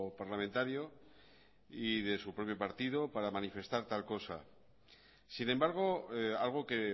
parlamentario y de su propio partido para manifestar tal cosa sin embargo algo que